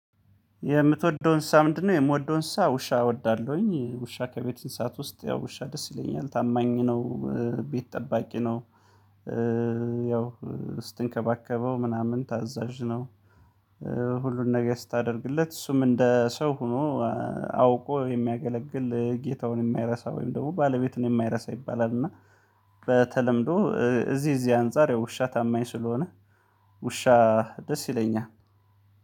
የምትወደውን እንስሳ ምንድን ነው? የምወደውን እንስሳ ውሻ እወዳለሁኝ ውሻ ከቤት እንስሳት ውስጥ ያው ውሻ ደስ ይለኛል ታማኝ ነው። ቤት ጠባቂ ነው። ያው ስትንከባከበው ምናምን ታዛዥ ነው። ሁሉን ነገር ስታደርግለት እሱም እንደ ሰው ሆኖ አውቆ የሚያገለግል ጌታውን የማይረሳ ወይም ደግሞ ባለቤትን የማይረሳ ይባላል። እና በተለምዶ እዚህ እዚህ አንፃር ውሻ ታማኝ ስለሆነ ውሻ ደስ ይለኛል።